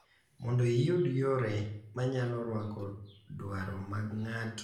Mondo iyud yore ma nyalo rwako dwaro mag ng’ato ka ng’ato.